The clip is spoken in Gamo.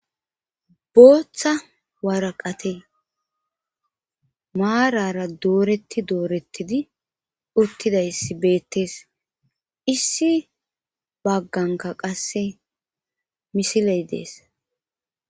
booththa waraqate maarara dooretti doorettidi uttidayssi beettees issi bagganka qasse misiley dees